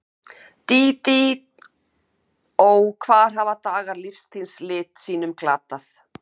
Dídí, Dídí, ó, hvar hafa dagar lífs þíns lit sínum glatað?